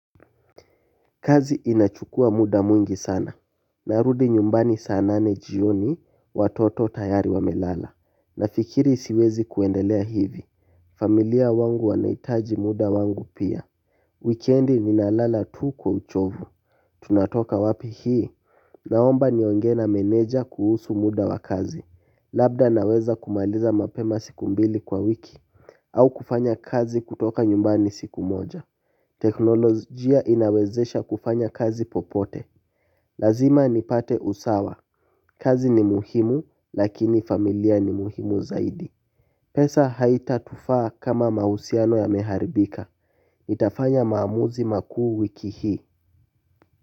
Kazi inachukua muda mwingi sana. Narudi nyumbani sana nane jioni watoto tayari wamelala nafikiri siwezi kuendelea hivi. Familia wangu wanahitaji muda wangu pia. Weekendi ninalala tu kwa uchovu. Tunatoka wapi hii naomba niongee na meneja kuhusu muda wa kazi. Labda naweza kumaliza mapema siku mbili kwa wiki. Au kufanya kazi kutoka nyumbani siku moja. Teknolojia inawezesha kufanya kazi popote. Lazima nipate usawa. Kazi ni muhimu lakini familia ni muhimu zaidi. Pesa haita tufaa kama mahusiano yameharibika nitafanya maamuzi makuu wiki hii.